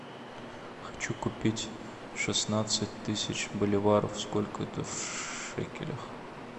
хочу купить шестнадцать тысяч боливаров сколько это в шекелях